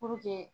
Puruke